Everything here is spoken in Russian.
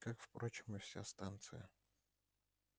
как впрочем и вся станция